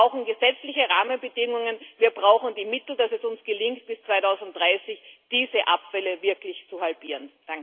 Wir brauchen gesetzliche Rahmenbedingungen, und wir brauchen entsprechende Mittel, damit es uns gelingt, bis 2030 diese Abfälle wirklich zu halbieren.